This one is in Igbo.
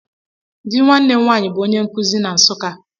Dị nwanne m nwaanyị bụ onye nkụzi na Nsukka.